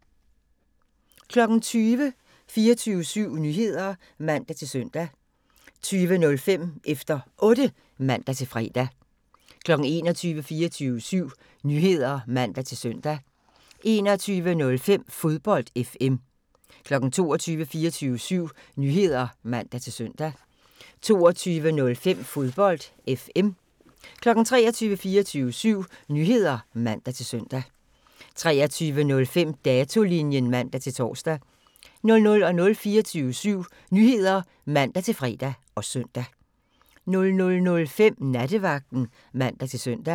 20:00: 24syv Nyheder (man-søn) 20:05: Efter Otte (man-fre) 21:00: 24syv Nyheder (man-søn) 21:05: Fodbold FM 22:00: 24syv Nyheder (man-søn) 22:05: Fodbold FM 23:00: 24syv Nyheder (man-søn) 23:05: Datolinjen (man-tor) 00:00: 24syv Nyheder (man-fre og søn) 00:05: Nattevagten (man-søn)